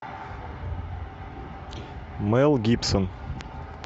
мел гибсон